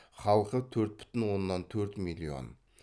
халқы төрт бүтін оннан төртмиллион